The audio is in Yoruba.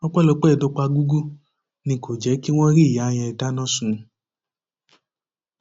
ọpẹlọpẹ dọpágúgú ni kò jẹ kí wọn rí ìyá yẹn dáná sun